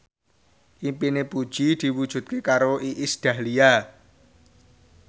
impine Puji diwujudke karo Iis Dahlia